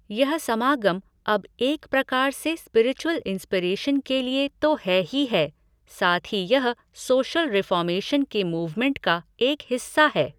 यह समागम अब एक प्रकार से स्पिरिचुअल इन्स्पिरेशन के लिए तो है ही है, साथ ही यह सोशल रिफ़ॉर्मेशन के मूवमेंट का एक हिस्सा है।